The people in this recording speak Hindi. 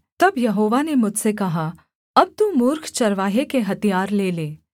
तब यहोवा ने मुझसे कहा अब तू मूर्ख चरवाहे के हथियार ले ले